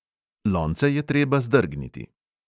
Lonce je treba zdrgniti.